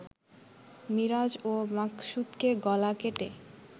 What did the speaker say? মিরাজ ও মাকসুদকে গলা কেটে